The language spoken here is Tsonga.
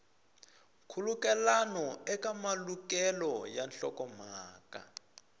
nkhulukelano eka malukelo ya nhlokomhaka